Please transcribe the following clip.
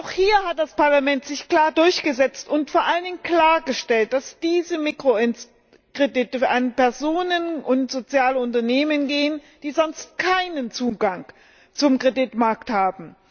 Auch hier hat sich das Parlament klar durchgesetzt und vor allen Dingen klargestellt, dass diese Mikrokredite an Personen und soziale Unternehmen gehen sollen, die sonst keinen Zugang zum Kreditmarkt haben.